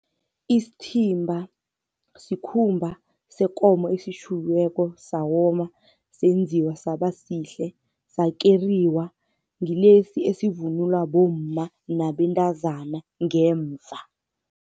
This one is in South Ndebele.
Isithimba sikhumba sekomo esitjhukiweko sawoma, senziwa saba sihle, sakeriwa. Ngilesi esivunulwa bomma nabentazana ngemva.